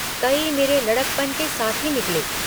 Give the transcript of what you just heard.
कई मेरे लड़कपन के साथी निकले।